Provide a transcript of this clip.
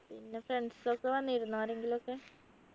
പിന്നെ friends ഒകെ വന്നിരുന്നോ ആരെങ്കിലും ഒക്കെ